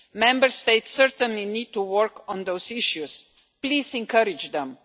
Member States certainly need to work on those issues. Please encourage them.